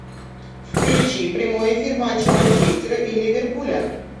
включи прямой эфир матча манчестера и ливерпуля